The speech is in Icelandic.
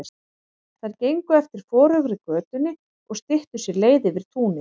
Þær gengu eftir forugri götunni og styttu sér leið yfir túnið.